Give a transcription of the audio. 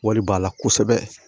Wari b'a la kosɛbɛ